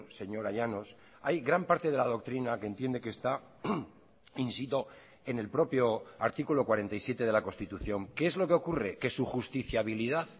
señora llanos hay gran parte de la doctrina que entiende que está in sito en el propio artículo cuarenta y siete de la constitución qué es lo que ocurre que su justiciabilidad